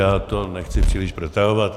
Já to nechci příliš protahovat.